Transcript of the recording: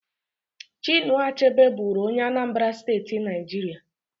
Chinua Achebe bụrụ onye Anambra State, Nigeria